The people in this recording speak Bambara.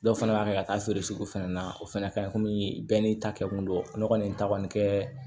Dɔw fana b'a kɛ ka taa feere fɛnɛ na o fana ka ɲi komi bɛɛ n'i ta kɛ kun don ne kɔni ta kɔni kɛ